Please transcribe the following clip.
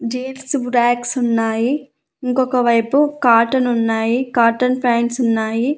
Jeans racks ఉన్నాయి ఇంకొక వైపు కాటన్ ఉన్నాయి కాటన్ ప్యాంట్స్ ఉన్నాయి.